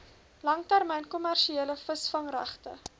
langtermyn kommersiële visvangregte